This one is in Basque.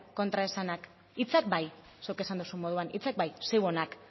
kontraesanak hitzak bai zuk esan duzun moduan hitzak bai zeuenak